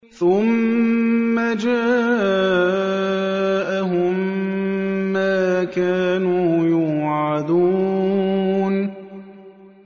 ثُمَّ جَاءَهُم مَّا كَانُوا يُوعَدُونَ